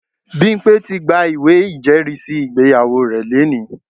Bimpe ti gba ìwé ìjẹ́rìísí ìgbéyàwó rẹ̀ lónìí